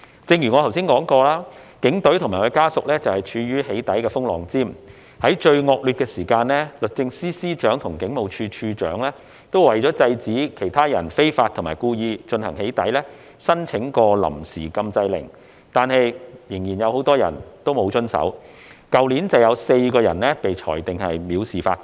正如我剛才提到，警隊及其家屬處於"起底"的風浪尖，在最惡劣的時間，律政司司長及警務處處長曾為制止他人非法及故意進行"起底"而申請臨時禁制令，但仍然有很多人沒有遵守，去年便有4人被裁定藐視法庭。